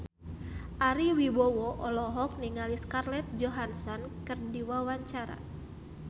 Ari Wibowo olohok ningali Scarlett Johansson keur diwawancara